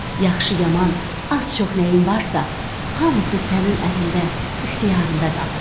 Yaxşı, yaman, az-çox nəyim varsa, hamısı sənin əlində, ixtiyarında qalsın.